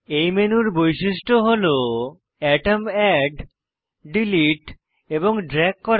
এই মেনুর বৈশিষ্ট্য হল অ্যাটম অ্যাড ডিলিট এবং ড্রেগ করা